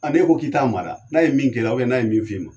N'e ko k'i t'a mada, n'a ye min kɛra n'a ye min f'i ma.